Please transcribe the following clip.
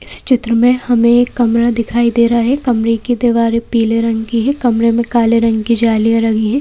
इस चित्र में हमें एक कमरा दिखाई दे रहा है कमरे की दीवारें पीले रंग की है कमरे में काले रंग की जालियां लगी है।